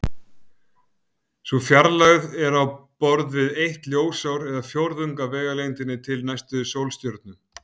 Sú fjarlægð er á borð við eitt ljósár eða fjórðunginn af vegalengdinni til næstu sólstjörnu.